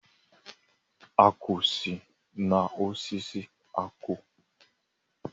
Akwụ si na osisi akwụ.